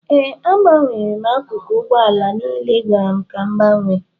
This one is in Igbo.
Ee, agbanwere m akụkụ ụgbọ ala niile ị gwara m ka m gbanwee